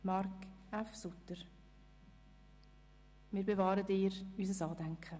Marc F. Suter, wir bewahren dir unser Andenken.